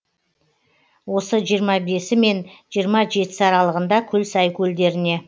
осы жиырма бесі мен жиырма жетісі аралығында көлсай көлдеріне